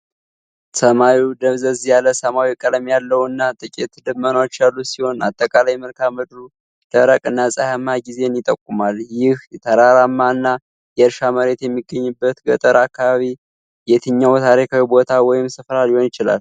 ሰማዩ ደብዘዝ ያለ ሰማያዊ ቀለም ያለው እና ጥቂት ደመናዎች ያሉት ሲሆን፣ አጠቃላይ መልክዓ ምድሩ ደረቅ እና ፀሐያማ ጊዜን ይጠቁማል። ይህ ተራራማ እና የእርሻ መሬት የሚገኝበት ገጠር አካባቢ የትኛው ታሪካዊ ቦታ ወይም ስፍራ ሊሆን ይችላል?